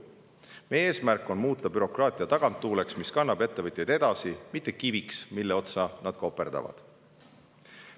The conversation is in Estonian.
Meie eesmärk on muuta bürokraatia taganttuuleks, mis kannab ettevõtjaid edasi, mitte kiviks, mille otsa nad koperdavad.